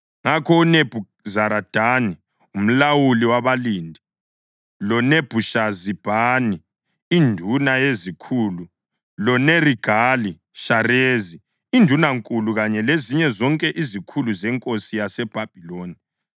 Ngakho uNebhuzaradani umlawuli wabalindi, loNebhushazibhani induna yezikhulu, loNerigali-Shareza indunankulu kanye lezinye zonke izikhulu zenkosi yaseBhabhiloni